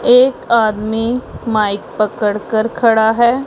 एक आदमी माइक पकड़ कर खड़ा है।